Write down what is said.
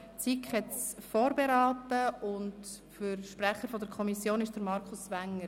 Die SiK hat es vorberaten, Sprecher der Kommission ist ihr Präsident, Markus Wenger.